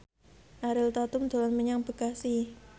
Ariel Tatum dolan menyang Bekasi